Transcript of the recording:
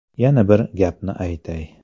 Yana bir gapni aytay.